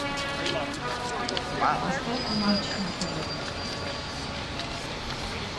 поставь матч на тв